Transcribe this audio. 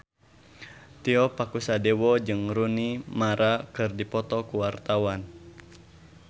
Tio Pakusadewo jeung Rooney Mara keur dipoto ku wartawan